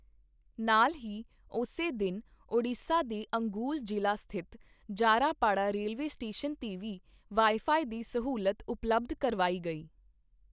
ਨਾਲ ਹੀ, ਉਸੇ ਦਿਨ ਉਡੀਸ਼ਾ ਦੇ ਅਂਗੁਲ ਜ਼ਿਲ੍ਹਾ ਸਥਿਤ ਜਾਰਾਪਾੜਾ ਰੇਲਵੇ ਸਟੇਸ਼ਨ ਤੇ ਵੀ ਵਾਈ ਫਾਈ ਦੀ ਸਹੂਲਤ ਉਪਲੱਬਧ ਕਰਵਾਈ ਗਈ।